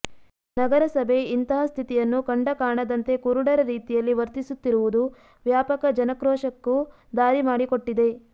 ನಗರಸಭೆ ಇಂತಹ ಸ್ಥಿತಿಯನ್ನು ಕಂಡ ಕಾಣದಂತೆ ಕುರುಡರ ರೀತಿಯಲ್ಲಿ ವರ್ತಿಸುತ್ತಿರುವುದು ವ್ಯಾಪಕ ಜನಕ್ರೋಶಕ್ಕೂ ದಾರಿ ಮಾಡಿಕೊಟ್ಟಿದೆ